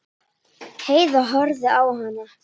Heiða horfði á hana.